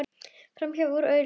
Framhjá og úr augsýn.